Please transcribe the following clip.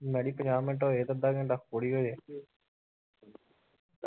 ਪੰਜਾਹ ਮਿੰਟ ਹੋਏ ਤੇ ਅੱਧਾ ਘੰਟਾ ਹੋਰ ਈ ਹਲੇ